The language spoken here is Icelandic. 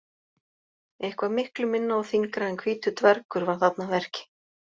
Eitthvað miklu minna og þyngra en hvítur dvergur var þarna að verki.